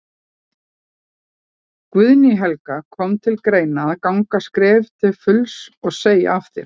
Guðný Helga: Kom til greina að ganga skrefið til fulls og, og segja af þér?